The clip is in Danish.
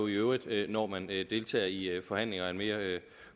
i øvrigt når man deltager i forhandlinger af mere